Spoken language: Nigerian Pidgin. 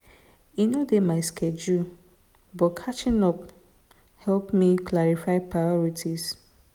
e no dey my schedule but catching up help me clarify my priorities.